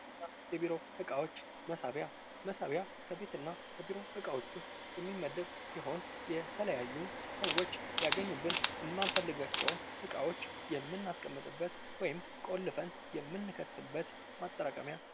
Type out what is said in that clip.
የቤት እና የቢሮ እቃዎች መሳቢያ መሳቢያ ከቤት እና የቢሮ እቃዎች ዉስጥ የሚመደብ ሲሆን ይህ የተለያዩ ሰዎች እንዲያገኙብን የማንፈልጋቸውን እቃዎች የምናስቀምጥበት ወይም ቆልፈን የምንከትበት ማጠራቀሚያ ነው።